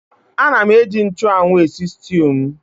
Ana m eji nchụ́anwu esi sịtịụ m